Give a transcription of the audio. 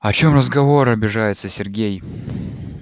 о чём разговор обижается сергей